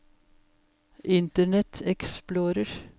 internet explorer